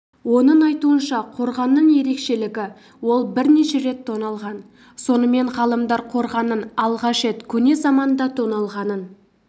оның айтуынша қорғанның ерекшелігі ол бірнеше рет тоналған сонымен ғалымдар қорғанның алғаш рет көне заманда тоналғанын